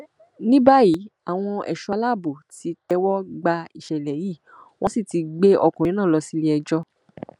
ní báyìí àwọn ẹṣọ aláàbò ti tẹwọ gba ìṣẹlẹ yìí wọn sì ti gbé ọkùnrin náà lọ sí iléẹjọ